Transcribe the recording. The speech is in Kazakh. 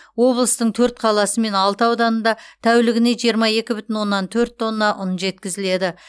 облыстың төрт қаласы мен алты ауданында тәулігіне жиырма екі бүтін оннан төрт тонна ұн жеткізіледі